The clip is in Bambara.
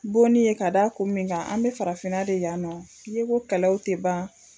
Bonni ye k'a da kun min kan an be farafinna de yan nɔ yeko kɛlɛw te ban